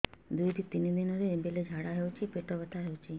ଦୁଇରୁ ତିନି ଦିନରେ ବେଳେ ଝାଡ଼ା ହେଉଛି ପେଟ ବଥା ହେଉଛି